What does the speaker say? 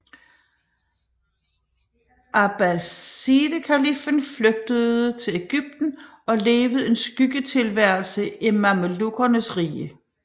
Abbasidekaliffen flygtede til Egypten og levede en skyggetilværelse i mamelukkernes rige